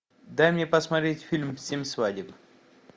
дай мне посмотреть фильм семь свадеб